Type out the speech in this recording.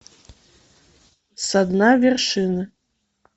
со дна вершины